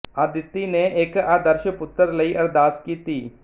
ਅਦਿਤੀ ਨੇ ਇਕ ਆਦਰਸ਼ ਪੁੱਤਰ ਲਈ ਅਰਦਾਸ ਕੀਤੀ